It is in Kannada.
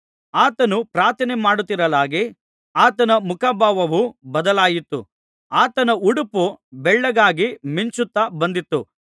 ಆತನು ಪ್ರಾರ್ಥನೆಮಾಡುತ್ತಿರಲಾಗಿ ಆತನ ಮುಖಭಾವವು ಬದಲಾಯಿತು ಆತನ ಉಡುಪು ಬೆಳ್ಳಗಾಗಿ ಮಿಂಚುತ್ತಾ ಬಂದಿತು